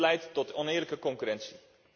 Dit leidt tot oneerlijke concurrentie.